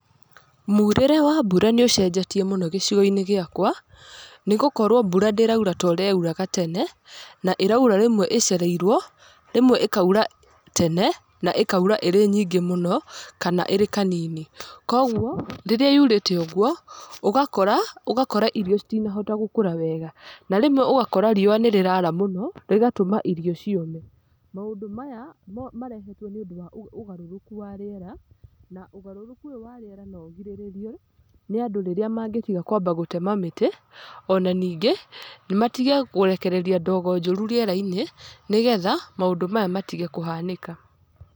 Muurĩre wa mbura nĩ ũcenjetie mũno gĩcigo-inĩ gĩakwa, nĩ gũkorwo mbura ndĩraura ta ũrĩa yauraga tene. Na ĩraura rĩmwe ĩcereirwo, rĩmwe ĩkaura tene na ĩkaura ĩrĩ nyingĩ mũno kana ĩrĩ kanini. Koguo rĩrĩa yurĩte ũguo ũgakora ũgakorai rio citinahota gũkũra wega. Na rĩmwe ũgakora, riũa nĩ rĩara mũno rĩgatũma irio ciũme. Maũndũ maya marehetwo, nĩ ũndũ wa ũgarũrũku wa rĩera. Na ũgarũrũku ũyũ wa rĩera no ũgirĩrĩrio nĩ andũ rĩrĩa mangĩtiga kwamba gũtema mĩtĩ ona ningĩ matige kũrekereria ndogo njũru rĩera-inĩ, nĩgetha maũndũ maya matige kũhanĩka.